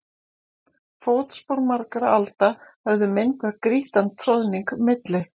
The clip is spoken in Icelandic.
Fótspor margra alda höfðu myndað grýttan troðning milli